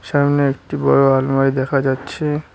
সামনে একটি বড় আলমারি দেখা যাচ্ছে।